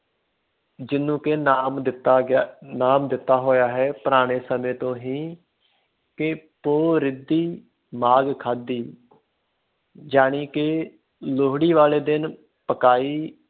ਜਿਹਨੂੰ ਕਿ ਨਾਮ ਦਿੱਤਾ ਗਿਆ, ਨਾਮ ਦਿੱਤਾ ਹੋਇਆ ਹੈ ਪੁਰਾਣੇ ਸਮੇਂ ਤੋਂ ਹੀ ਕਿ ਪੋਹ ਰਿੱਧੀ ਮਾਘ ਖਾਧੀ ਜਾਣੀ ਕਿ ਲੋਹੜੀ ਵਾਲੇ ਦਿਨ ਪਕਾਈ